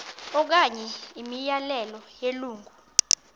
okanye imiyalelo yelungu